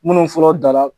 Minnu fɔlɔ dala